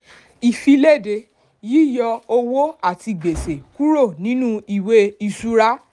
ìfilède: yíyọ owó àti gbèsè kúrò nínú ìwé ìṣura.